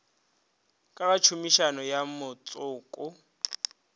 ka ga tshomišo ya motšoko